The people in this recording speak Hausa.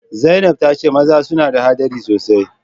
Zainab ta ce maza suna da hadari sosai